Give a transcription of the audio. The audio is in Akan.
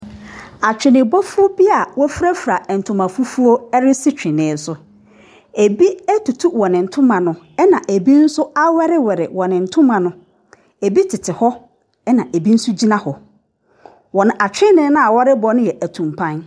Atwenebɔfoɔ bi a wɔfirafira ntoma fufuo resi twene so. Ɛbi atutu wɔn ntoma no, ɛna ɛbi nso awɛrewɛre wɔn ntoma no. ɛbi tete hɔ, ɛna ɛbi nso gyina hɔ. Wɔn atwene no a wɔrebɔ no yɛ atumpan.